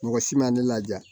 Mɔgɔ si ma ne laja